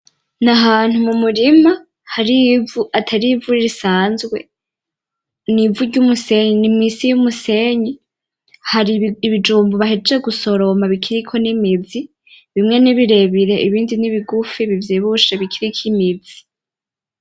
Nahantu mumurima hari ivu, atari ivu risanzwe, nivu ryumusenyi nimusi yumusenyi, hari ibijumbu bahejeje gusoroma bikiriko nimizi, bimwe nibirebire ibindi nibigufi bivyibushe bikiriko imizi.